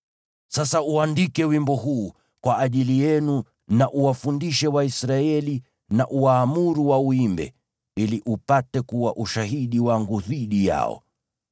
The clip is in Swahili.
“Sasa ujiandikie wimbo huu, uwafundishe Waisraeli na uwaamuru wauimbe, ili upate kuwa ushahidi wangu dhidi yao.